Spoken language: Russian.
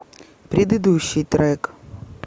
предыдущий трек